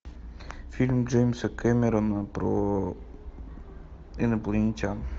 фильм джеймса кэмерона про инопланетян